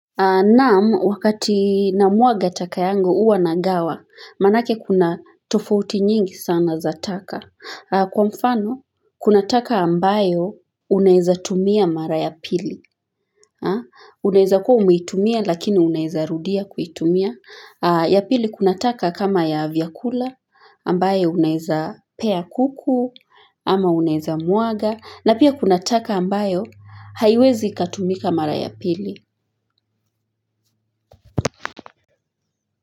Na'am, wakati namwaga taka yangu hua nagawa, manake kuna tofouti nyingi sana za taka. Kwa mfano, kuna taka ambayo unaweza tumia mara ya pili. Unaweza kuwa umetumia, lakini unaweza rudia kuitumia. Ya pili kuna taka kama ya vyakula, ambayo unaweza pea kuku, ama unaweza mwaga. Na pia kuna taka ambayo, haiwezi ikatumika mara ya pili.